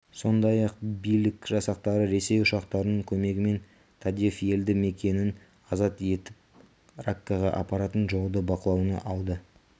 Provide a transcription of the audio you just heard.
сондай-ақ билік жасақтары ресей ұшақтарының көмегімен тадеф елді мекенін азат етіп раккаға апаратын жолды бақылауына алды